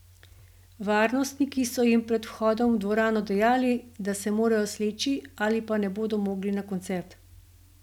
Varnostniki so jim pred vhodom v dvorano dejali, da se morajo sleči ali pa ne bodo mogli na koncert.